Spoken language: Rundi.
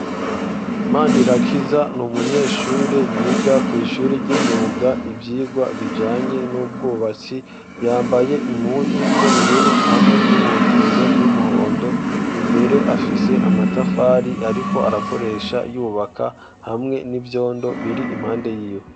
Manirakiza ni umunyeshuri yiga kw'ishuri ry'imyuga ivyigwa bijanye n'ubwubatsi, yambaye impuzu z'ubururu hamwe n'inkofero y'umuhondo, imbere afise amatafari ariko arakoresha yubaka hamwe n'ivyondo biri impande yiwe.